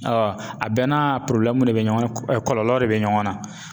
a bɛɛ n'a de bɛ ɲɔgɔn na kɔlɔlɔw de bɛ ɲɔgɔn na.